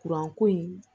ko in